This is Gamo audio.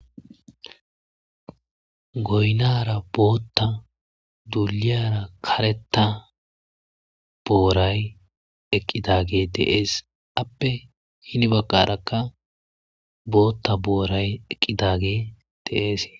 Goynara bota balliyara kareta boray eqidagey de'ese appe hen bagarakka bota boray eqidagey de'ese